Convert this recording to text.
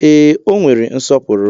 Ee, o nwere nsọpụrụ.